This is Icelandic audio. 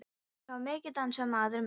Þá var mikið dansað, maður minn.